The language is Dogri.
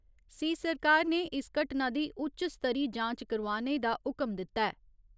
सी सरकार ने इस घटना दी उच्च स्तरी जांच करोआने दा हुकम दित्ता ऐ।